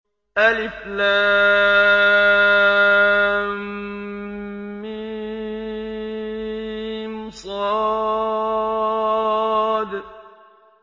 المص